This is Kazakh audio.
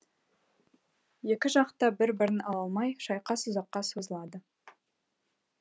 екі жақ та бір бірін ала алмай шайқас ұзаққа созылады